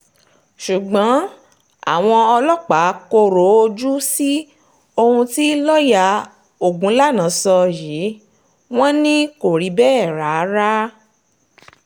ṣùgbọ́n àwọn ọlọ́pàá kọ̀rọ̀ ojú sí ohun tí lọ́ọ̀yà ogunlànà sọ yìí wọ́n ní kò rí bẹ́ẹ̀ rárá